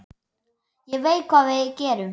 Ég veit hvað við gerum!